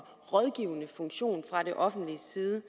rådgivende funktion fra offentlig side